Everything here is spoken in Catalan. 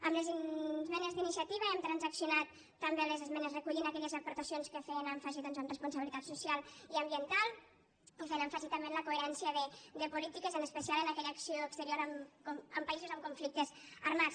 amb les esmenes d’iniciativa hem transaccionat també les esmenes recollint aquelles aportacions que feien èmfasi doncs en responsabilitat social i ambiental i feien èmfasi també en la coherència de polítiques en especial en aquella acció exterior en països amb conflictes armats